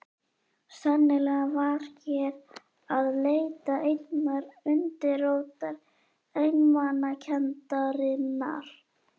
Sennilega var hér að leita einnar undirrótar einmanakenndarinnar.